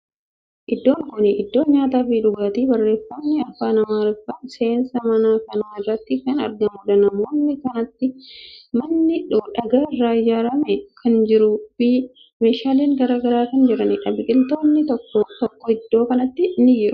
Iddoon kuni iddoo nyaata fi dhugaatiiti. Barreeffamni afaan Amaariffaa seensa mana kanaa irratti kan argamuudha. Naannoo kanatti manni dhagaa irraa ijaarame kan jiruu fi meeshaalen garagaraa kan jiraniidha. Biqiltootni tokko tokko iddoo kanatti ni jiru.